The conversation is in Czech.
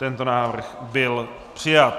Tento návrh byl přijat.